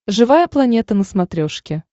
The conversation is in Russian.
живая планета на смотрешке